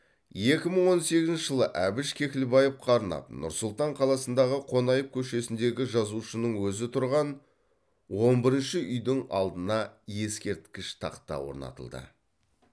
екі мың он сегізінші жылы әбіш кекілбаевқа арнап нұр сұлтан қаласындағы қонаев көшесінлдегі жазушының өзі тұрған он бірінші үйдің алдына ескерткіш тақта орнатылды